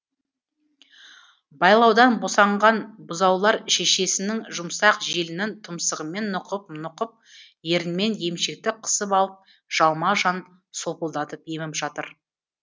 байлаудан босанған бұзаулар шешесінің жұмсақ желінін тұмсығымен нұқып нұқып ернімен емшекті қысып алып жалма жан солпылдатып еміп жатыр